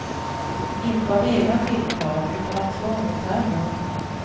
Inte av egna tilltag utan av tvång och terror.